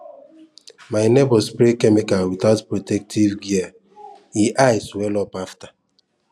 my neighbour spray chemical without protective gear e eye swell up after